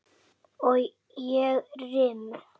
Og ég rym.